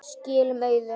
Skilum auðu.